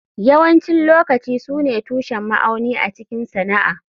Yawancin lokaci su ne tushen ma'auni a cikin sana'a.